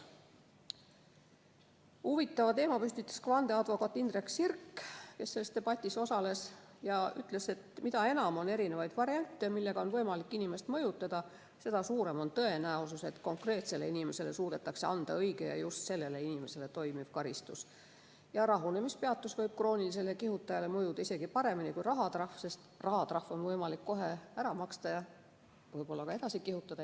Huvitava teema püstitas vandeadvokaat Indrek Sirk, kes selles debatis osales ja ütles, et mida enam on erinevaid variante, millega on võimalik inimest mõjutada, seda suurem on tõenäosus, et konkreetsele inimesele suudetakse leida õige ja just sellele inimesele toimiv karistus ning rahunemispeatus võib kroonilisele kihutajale mõjuda isegi paremini kui rahatrahv, sest rahatrahv on võimalik kohe ära maksta ja võib-olla ka edasi kihutada.